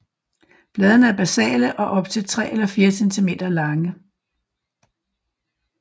Bladene er basale og op til 3 eller 4 centimeter lange